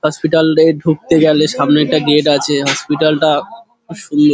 hospital -এ ঢুকতে গেলে সামনে একটা গেট আছে হসপিটাল -টা খুব সুন্দ--